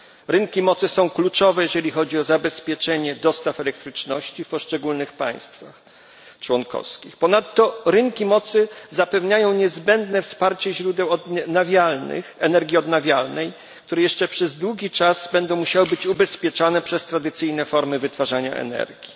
Rynki mocy są kluczowe, jeżeli chodzi o zabezpieczenie dostaw elektryczności w poszczególnych państwach członkowskich. Ponadto rynki mocy zapewniają niezbędne wsparcie źródeł odnawialnych które jeszcze przez długi czas będą musiały być ubezpieczane przez tradycyjne formy wytwarzania energii.